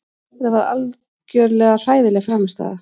Þetta var algjörlega hræðileg frammistaða.